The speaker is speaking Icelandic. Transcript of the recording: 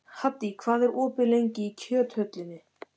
Haddý, hvað er opið lengi í Kjöthöllinni?